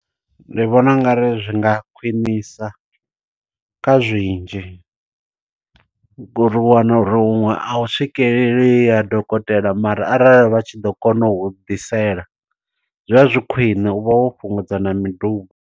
Ndi vhona ungari zwi nga khwiṋisa kha zwinzhi, ngo uri u wana uri huṅwe a hu swikeleleyi ha dokotela, mara arali vha tshi ḓo kona u ḓisela. Zwa zwi khwine, u vha wo fhungudza na miduba.